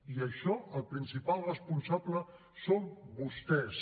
i d’això el principal responsable són vostès